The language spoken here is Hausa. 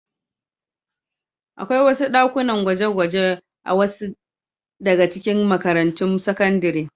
Akwai ɗakunan gwaje-gwaje a wasu daga cikin makarantun sakandare.